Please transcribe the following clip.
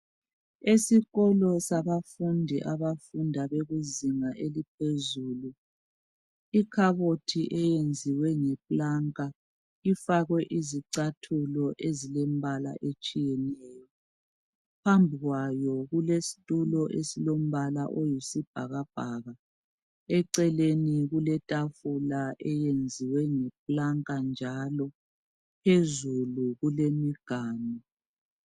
Esikolo sabafundi abafunda bekuzinga eliphezulu. Ikhabothi eyenziwe ngeplanka, fakwe izicathulo ezilombaka otshiyeneyo. Eceleni kuletafula eyenziwe ngeplanka njalo. Phezulu kulemiganu.